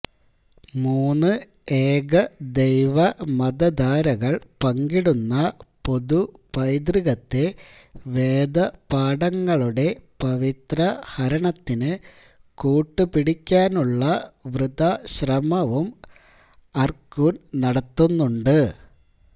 മൂന്ന് ഏകദൈവ മതധാരകള് പങ്കിടുന്ന പൊതു പൈതൃകത്തെ വേദപാഠങ്ങളുടെ പവിത്ര ഹരണത്തിന് കൂട്ടുപിടിക്കാനുള്ള വൃഥാ ശ്രമവും അര്കൂന് നടത്തുന്നുണ്ട്